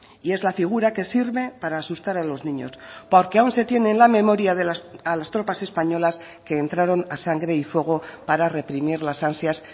y es la figura que sirve para asustar a los niños porque aún se tiene en la memoria a las tropas españolas que entraron a sangre y fuego para reprimir las ansias